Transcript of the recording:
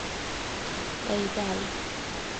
Ei dala